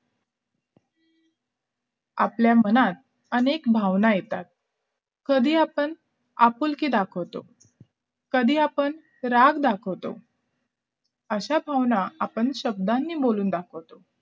आपल्या मनात अनेक भावना येतात कधी आपण आपुलकी दाखवतो कधी आपण राग दाखवतो अशा भावना आपण शब्दांनीच बोलून दाखवतो